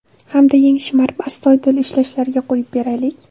Hamda yeng shimarib astoydil ishlashlariga qo‘yib beraylik.